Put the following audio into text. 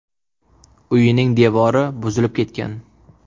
Uyining devori buzilib ketgan.